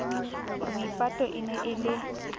maipato e ne e le